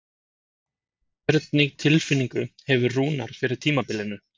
Hvernig tilfinningu hefur Rúnar fyrir tímabilinu?